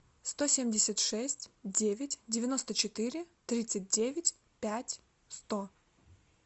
сто семьдесят шесть девять девяносто четыре тридцать девять пять сто